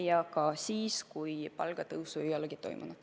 Ja muidugi ka siis, kui palgatõusu ei ole toimunud.